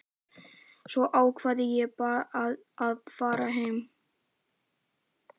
Svo ákvað ég að fara heim.